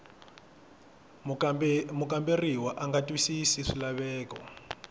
mukamberiwa a nga twisisi swilaveko